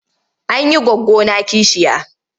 An yi goggona kishiya.